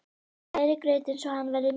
Hrærið grautinn svo hann verði mjúkur.